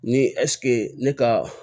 Ni ne ka